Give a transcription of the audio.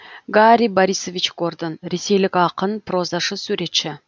гарри борисович гордон ресейлік ақын прозашы суретші